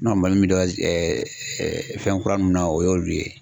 Mali min fɛn kura nunnu na o y'olu ye.